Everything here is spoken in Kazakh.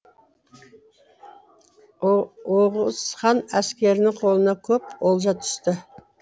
оғыз хан әскерінің қолына көп олжа түсті